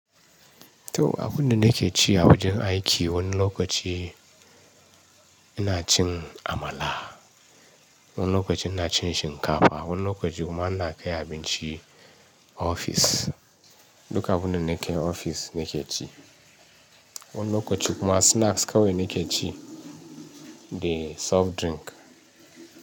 To, abunda nake ci a wajen aiki wani lokaci ina cin amala, wani lokaci ina cin shinkafa, wani lokaci kuma ina kai abinci ofis. Duka abunda nake ofis nake ci. Wani lokaci kuma snacks kawai nake ci da soft drink.